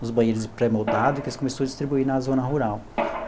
os banheiros pré-moldados, que eles começou a distribuir na zona rural.